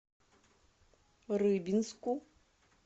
рыбинску